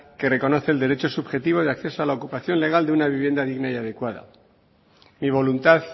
que reconoce el derecho subjetivo de acceso a la ocupación legal de una vivienda digna y adecuada mi voluntad